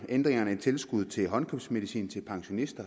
ændringen af tilskuddet til håndkøbsmedicin til pensionister